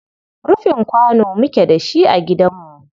Rufin kwano muke da shi a gidanmu.